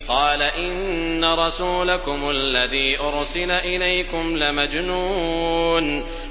قَالَ إِنَّ رَسُولَكُمُ الَّذِي أُرْسِلَ إِلَيْكُمْ لَمَجْنُونٌ